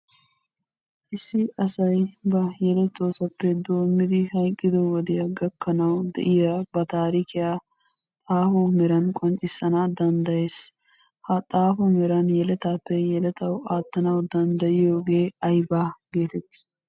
Issi asayi ba yelettoosappe doommidi hayqqido wodiya gakkanawu de'iya ba taarikiya xaafo meran qonccissana danddayees. Ha zaafo meran yeletaappe yeletawu aattanawu danddayiyogee aybaa geetettii?